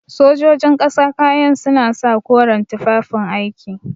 Sojojin ƙasa kayan suna sa koren tufafin aiki.